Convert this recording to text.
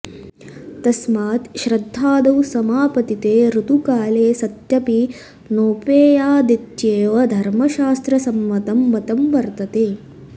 तस्मात् श्राध्दादौ समापतिते ऋतुकाले सत्यपि नोपेयादित्येव धर्मशास्त्रसम्मतं मतं वर्तते